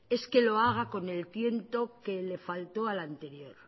es que lo haga con el tiento que le faltó al anterior